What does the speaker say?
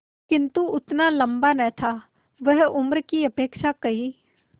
किंतु उतना लंबा न था वह उम्र की अपेक्षा कहीं